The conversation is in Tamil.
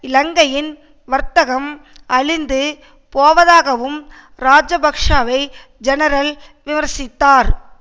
இலங்கையின் வர்த்தகம் அழிந்து போவதாகவும் இராஜபக்ஷவை ஜெனரல் விமர்சித்தார்